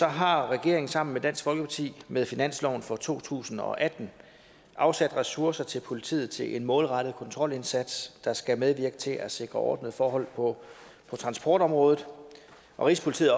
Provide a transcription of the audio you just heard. har regeringen sammen med dansk folkeparti med finansloven for to tusind og atten afsat ressourcer til politiet til en målrettet kontrolindsats der skal medvirke til at sikre ordnede forhold på transportområdet rigspolitiet